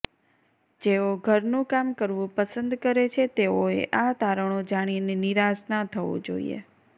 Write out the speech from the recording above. જેઓ ઘરનું કામ કરવું પસંદ કરે છે તેઓએ આ તારણો જાણીને નિરાશ ના થવું જોઈએ